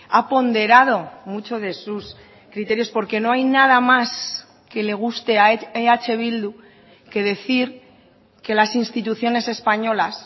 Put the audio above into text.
ha ponderado mucho de sus criterios porque no hay nada más que le guste a eh bildu que decir que las instituciones españolas